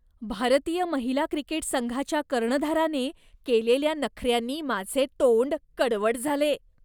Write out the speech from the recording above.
भारतीय महिला क्रिकेट संघाच्या कर्णधाराने केलेल्या नखऱ्यांनी माझे तोंड कडवट झाले.